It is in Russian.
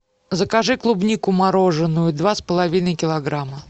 закажи клубнику мороженную два с половиной килограмма